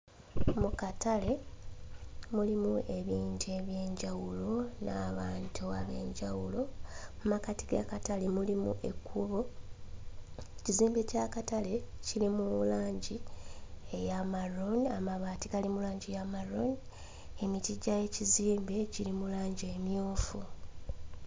Mu katale mulimu ebintu eby'enjawulo n'abantu ab'enjawulo. Mu makkati g'akatale mulimu ekkubo, ekizimbe ky'akatale kiri mu langi eya maluuni, amabaati gali mu langi ya maluuni, emiti gy'ekizimbe giri mu langi emmyufu.